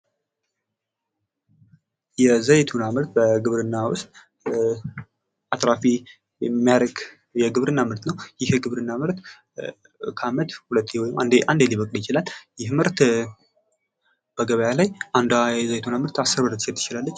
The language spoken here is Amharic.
የዘይቱና ምርት በግብርና ውስጥ አትራፊ የሚያደርግ የግብርና ምርት ነው ።ይህ የግብርና ምርት ከዓመት አንዴ ሊበቅል ይችላል ። ይህ ምርት በገበያ ላይ አንዷ የዘይቱና ምርት አስር ብር ልትሸጥ ትችላለች ።